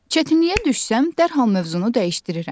Çətinliyə düşsəm dərhal mövzunu dəyişdirirəm.